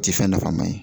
Ti fɛn nafama ye